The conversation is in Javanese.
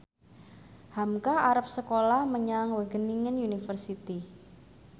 hamka arep sekolah menyang Wageningen University